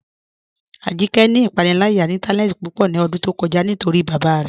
Ajíkẹ́ ni ipànílàyà ìntànẹ̀ẹ̀tì púpọ̀ ní ọ̀dún tó kọ̀já̀ nítorí bábá rẹ̀